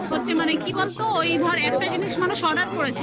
মানে কি বলতো? ওই ধার একটা জিনিস মানুষ order